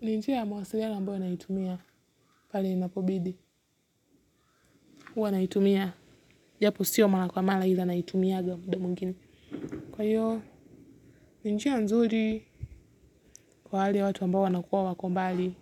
ni njia ya mawasiliano ambayo naitumia pale inapobidi huwa naitumia japo sio mara kwa mara ila naitumianga muda mwingine kwa hiyo ni njia nzuri kwa hali ya watu ambao wanakuwa wako mbali